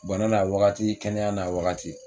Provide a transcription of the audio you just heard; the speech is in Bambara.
Bana n'a wagati, kɛnɛya n'a wagati.